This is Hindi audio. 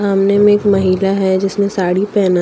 सामने में एक महिला है जिसने साड़ी पहनना--